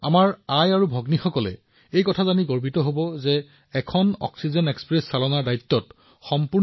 মাতৃ আৰু ভগ্নীসকলে শুনি গৌৰৱান্বিত হব যে অক্সিজেন এক্সপ্ৰেছ সম্পূৰ্ণৰূপে মহিলাৰ দ্বাৰা চলোৱা হৈছে